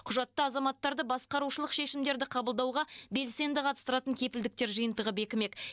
құжатта азаматтарды басқарушылық шешімдерді қабылдауға белсенді қатыстыратын кепілдіктер жиынтығы бекімек